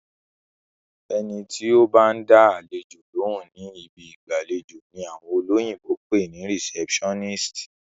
Ẹni tó bá ń dá àlejò lóhùn ni ibi ìgbàlejò ni àwọn olóyìnbó pè ní receptionist.